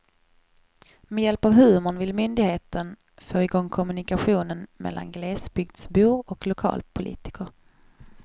Med hjälp av humorn vill myndigheten få i gång kommunikationen mellan glesbygdsbor och lokalpolitiker.